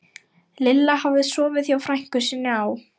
Lilla hafði sofið hjá frænku sinni á